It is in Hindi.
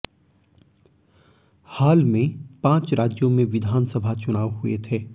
हाल में पांच राज्यों में विधानसभा चुनाव हुए थे